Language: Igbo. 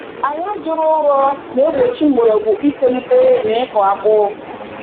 Ala juru ụrọ na-egbochi mgbọrọgwụ itolite n’ịkụ akpu